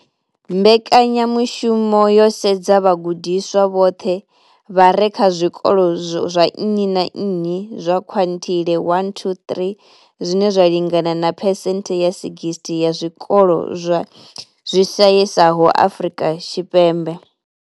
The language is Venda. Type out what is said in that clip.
Mbekanya mushumo yo sedza vhagudiswa vhoṱhe vha re kha zwikolo zwa nnyi na nnyi zwa quintile 1-3, zwine zwa lingana na phesenthe dza 60 ya zwikolo zwi shayesaho Afrika Tshipembe.